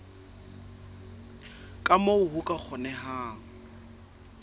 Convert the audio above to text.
ka moo ho ka kgonehang